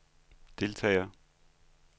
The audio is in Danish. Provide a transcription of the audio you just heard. deltagere